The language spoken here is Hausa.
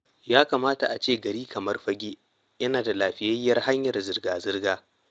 Ya kamata a ce gari kamar Fagge yana da lafiyayyiyar hanyar zirga-zirga.